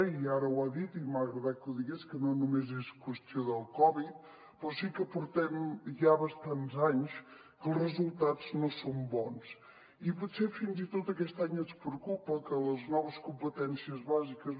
i ara ho ha dit i m’ha agradat que ho digués que no només és qüestió del covid però sí que portem ja bastants anys que els resultats no són bons i potser fins i tot aquest any ens preocupa que les noves competències bàsiques